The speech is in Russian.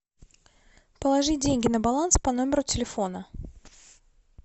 положить деньги на баланс по номеру телефона